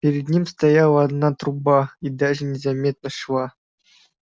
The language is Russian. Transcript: перед ним стояла одна труба и даже не заметно шва